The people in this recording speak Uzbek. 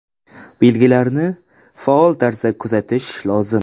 Belgilarni faol tarzda kuzatish lozim.